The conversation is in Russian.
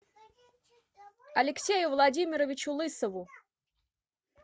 алексею владимировичу лысову